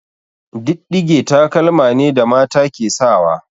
Diɗɗige taƙalma ne da mata ke sawa.